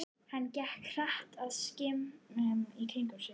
Hann gekk hratt og skimaði í kringum sig.